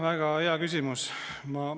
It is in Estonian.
Väga hea küsimus!